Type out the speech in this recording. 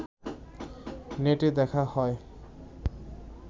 নেটে দেখা হয়